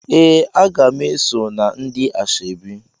Ee, a ga m eso na ndi Asaobi.